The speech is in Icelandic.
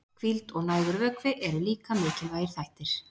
hvíld og nægur vökvi eru líka mikilvægir þættir